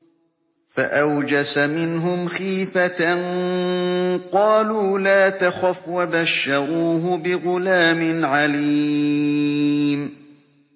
فَأَوْجَسَ مِنْهُمْ خِيفَةً ۖ قَالُوا لَا تَخَفْ ۖ وَبَشَّرُوهُ بِغُلَامٍ عَلِيمٍ